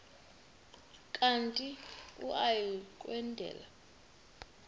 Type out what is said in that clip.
kanti uia kwendela